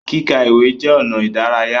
Kíka ìwé jẹ ọnà idaraya.